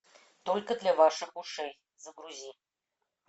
только для ваших ушей загрузи